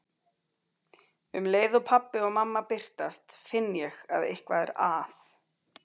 Um leið og pabbi og mamma birtast finn ég að eitthvað er að.